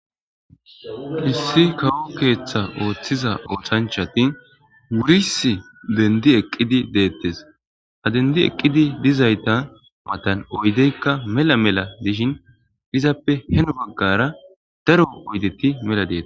issi kawo keeththa ooththiza oothanchatin wuris dendi eqqidi deettes ha dendi eqqidi dizayta matan oydeykka mela mela dishin izappe heno baggara daro oydetti mela deeta